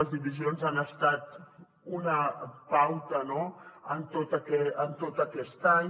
les divisions han estat una pauta no en tot aquest any